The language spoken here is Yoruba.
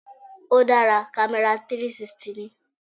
Ó dára, camera 360 ni.